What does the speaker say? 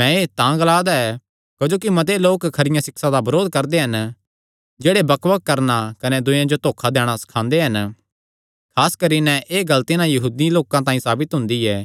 मैं एह़ तां ग्लांदा ऐ क्जोकि मत्ते लोक खरिया सिक्षा दा बरोध करदे हन जेह्ड़े बकबक करणा कने दूयेयां जो धोखा दैणा सखांदे हन खास करी नैं एह़ गल्ल तिन्हां यहूदी लोकां तांई साबित हुंदी ऐ